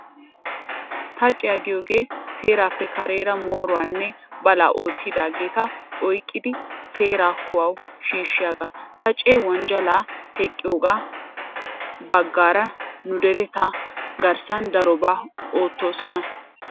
Xaaciyaa giyogee seerappe kareera mooruwaanne balaa oottidaageeta oyqqidi seeraa kuwawu shiishshiyagaa. Xaaceti wonjjalaa teqqiyogaa baggaara nu deretettaa garssan darobaa oottoosona.